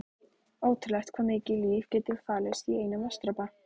Ótrúlegt hvað mikið líf getur falist í einum vatnsdropa.